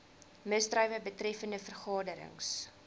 misdrywe betreffende vergaderings